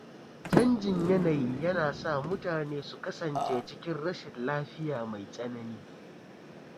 Chanjin yanayi yana sa mutane su kasance cikin rashin lafiya mai tsanani.